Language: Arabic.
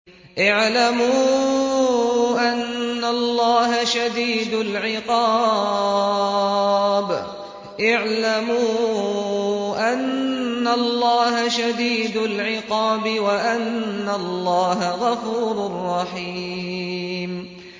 اعْلَمُوا أَنَّ اللَّهَ شَدِيدُ الْعِقَابِ وَأَنَّ اللَّهَ غَفُورٌ رَّحِيمٌ